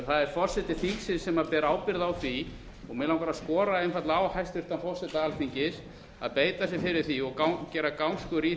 það er forseti þingsins sem ber ábyrgð á því og mig langar einfaldlega að skora á hæstvirtan forseta alþingis að beita sér fyrir því og gera gangskör að